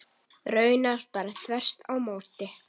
Raunar bara þvert á móti.